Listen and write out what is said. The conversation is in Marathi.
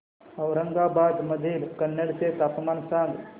औरंगाबाद मधील कन्नड चे तापमान सांग